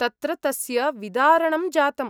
तत्र तस्य विदारणं जातम्।